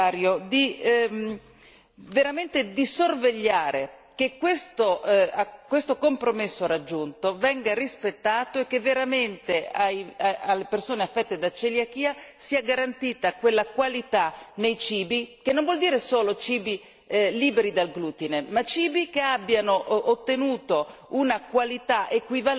Io vorrei pregarla Signor Commissario di sorvegliare veramente che questo compromesso raggiunto venga rispettato e che veramente alle persone affette da celiachia sia garantita quella qualità nei cibi che non vuol dire solo cibi liberi dal glutine, ma cibi che abbiano ottenuto